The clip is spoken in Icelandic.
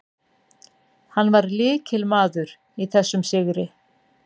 Hann var lykilmaður í þessum sigri.